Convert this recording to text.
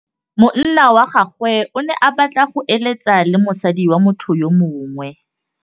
Monna wa gagwe o ne a batla go êlêtsa le mosadi wa motho yo mongwe.